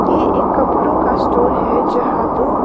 ये एक कपड़ों का स्टोर है जहां दो--